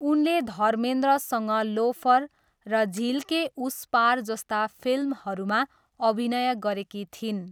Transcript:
उनले धर्मेन्द्रसँग लोफर र झिल के उस पार जस्ता फिल्महरूमा अभिनय गरेकी थिइन्।